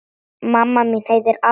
Mamma mín heitir Alda.